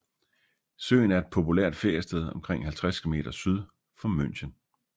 Søen er et populært feriested omkring 50 km syd for München